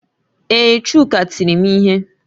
Ee, Chuka tiri m ihe